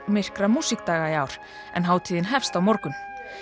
myrkra músíkdaga í ár en hátíðin hefst á morgun